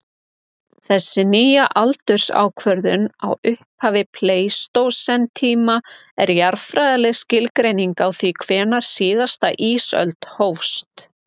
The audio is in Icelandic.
Þessi nýja aldursákvörðun á upphafi pleistósentíma er jarðfræðileg skilgreining á því hvenær síðasta ísöld hófst.